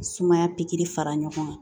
Sumaya fara ɲɔgɔn kan